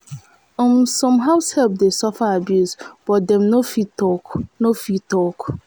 um some househelp de suffer abuse but dem no fit talk no fit talk